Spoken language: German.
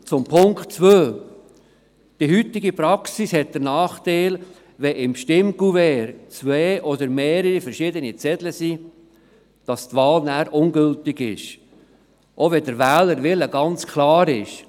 Zum Punkt 2: Die heutige Praxis hat den Nachteil, dass wenn sich im Stimmkuvert zwei oder mehrere unterschiedliche Zettel befinden, die Wahl dann ungültig ist, auch dann, wenn der Wählerwille ganz klar ist.